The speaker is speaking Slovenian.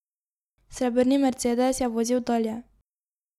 Srebrni mercedes je vozil dalje.